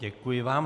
Děkuji vám.